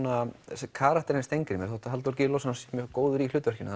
þessi karakter í Steingrími þótt Halldór Gylfason sé mjög góður í hlutverkinu